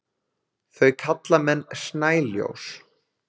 þau kalla menn snæljós